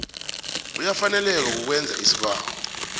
uyafaneleka kukwenza isibawo